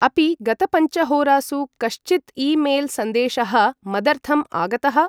अपि गतपञ्चहोरासु कश्चिद् ई मेल्.सन्देशः मदर्थम् आगतः ?